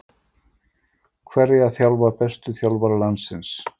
Hverja þjálfa bestu þjálfarar landsins?